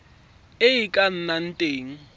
e e ka nnang teng